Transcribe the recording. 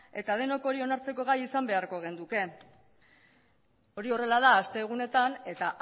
eta denok hori onartzeko gai izan beharko genuke hori horrela da astegunetan eta